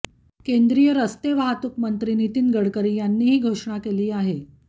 केंद्रीय रस्ते वाहतूकमंत्री नितीन गडकरी यांनी ही घोषणा केली आहे